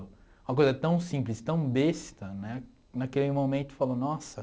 Uma coisa tão simples, tão besta né, naquele momento eu falo, nossa.